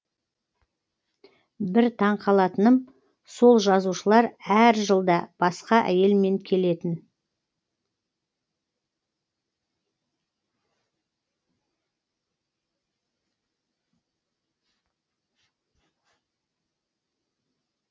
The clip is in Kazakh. бір таңқалатыным сол жазушылар әр жылда басқа әйелмен келетін